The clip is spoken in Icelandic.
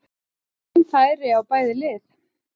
Fín færi á bæði lið!